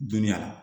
Dunuya